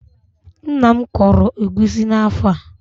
Nna m kọrọ egusi n'afọ a.